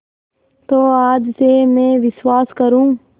तो आज से मैं विश्वास करूँ